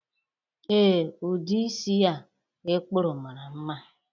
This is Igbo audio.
Ee, udi isi a i kpụrụ mara mma